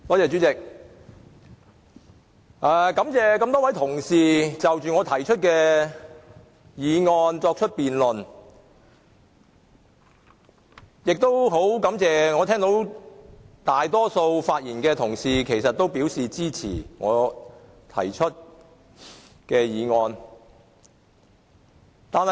主席，感謝各位同事就我動議的議案進行辯論，亦感謝大多數同事發言支持議案。